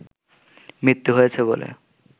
মৃত্যু হয়েছে বলে